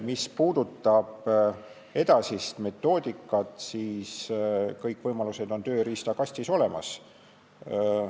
Mis puudutab edasist metoodikat, siis kõik võimalused on tööriistakastis olemas.